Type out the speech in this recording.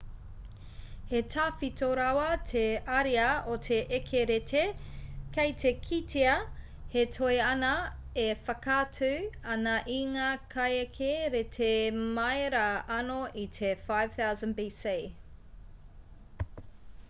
he tawhito rawa te ariā o te eke rēti kei te kitea he toi ana e whakaatu ana i ngā kaieke rēti mai rā anō i te 5000 bc